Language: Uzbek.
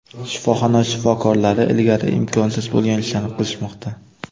Shifoxona shifokorlari ilgari imkonsiz bo‘lgan ishlarni qilishmoqda.